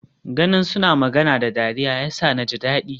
Ganin suna magana da dariya yasa naji dadi.